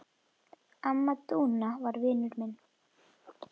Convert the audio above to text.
Amma Dúna var vinur minn.